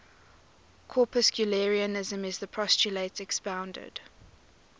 corpuscularianism is the postulate expounded